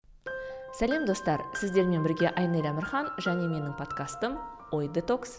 сәлем достар сіздермен бірге айнель әмірхан және менің подкастым ой детокс